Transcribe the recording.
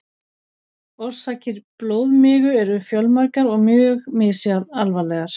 Orsakir blóðmigu eru fjölmargar og mjög misalvarlegar.